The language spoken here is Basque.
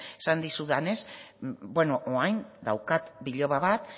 esan dizudanez orain daukat biloba bat